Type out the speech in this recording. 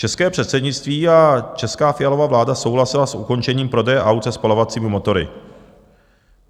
České předsednictví a česká Fialova vláda souhlasily s ukončením prodeje aut se spalovacími motory.